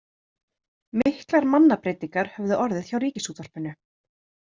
Miklar mannabreytingar höfðu orðið hjá Ríkisútvarpinu.